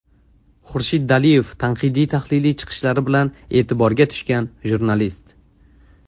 Xurshid Daliyev tanqidiy-tahliliy chiqishlari bilan e’tiborga tushgan jurnalist.